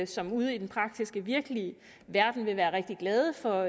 som ude i den praktiske virkelige verden vil være rigtig glade for